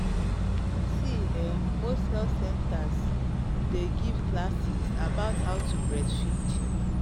see um most centers day give classes about how to breastfeed